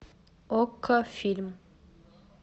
окко фильм